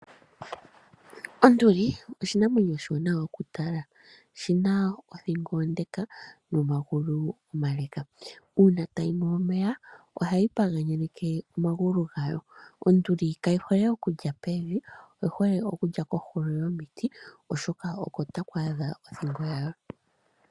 Onduli osho oshinamwenyo oshiwanawa okutala, oshina othingo ondeka nomagulu omaleleka, uuna tayi nu omeya ohayi paganyeke omagulu gayo. Onduli kayi hole okulya pevi oyi hole okulya kohulo yomiti oshoka oko taku adha othingo yawo.